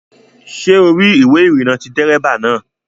Ṣé o rí ìwé ìrìnnà ti dérébà náà?